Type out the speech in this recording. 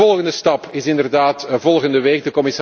De volgende stap is inderdaad volgende week.